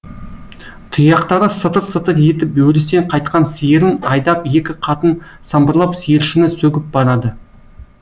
тұяқтары сытыр сытыр етіп өрістен қайтқан сиырын айдап екі қатын самбырлап сиыршыны сөгіп барады